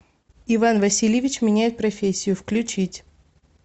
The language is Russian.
иван васильевич меняет профессию включить